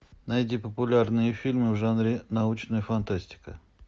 найди популярные фильмы в жанре научная фантастика